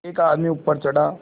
एक आदमी ऊपर चढ़ा